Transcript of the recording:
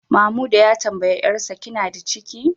Mamuda ya tambayi 'yarsa, kina ciki?